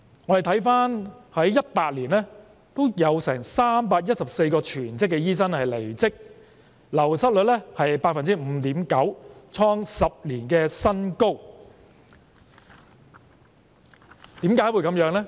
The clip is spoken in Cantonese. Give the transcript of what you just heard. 我們回顧在2018年，有314名全職醫生離職，流失率是 5.9%， 創下10年新高，為何會這樣呢？